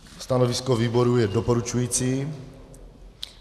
Stanovisko výboru je doporučující.